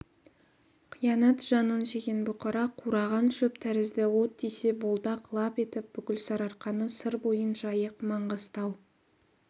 қиянат жанын жеген бұқара қураған шөп тәрізді от тисе болды-ақ лап етіп бүкіл сарыарқаны сыр бойын жайық маңғыстау